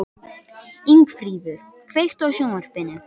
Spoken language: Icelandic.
Ingifríður, kveiktu á sjónvarpinu.